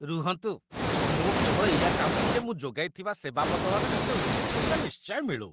ରୁହନ୍ତୁ, ମୁଁ କେବଳ ଏଇୟା ଚାହୁଁଛି ଯେ ମୁଁ ଯୋଗାଇଥିବା ସେବା ବଦଳରେ ମୋତେ ଉଚିତ ମୂଲ୍ୟ ନିଶ୍ଚୟ ମିଳୁ।